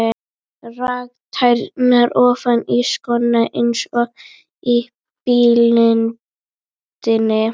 Rak tærnar ofan í skóna eins og í blindni.